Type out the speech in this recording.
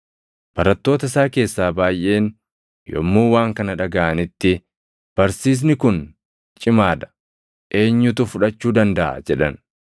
Barattoota isaa keessaa baayʼeen yommuu waan kana dhagaʼanitti, “Barsiisni kun cimaa dha; eenyutu fudhachuu dandaʼa?” jedhan.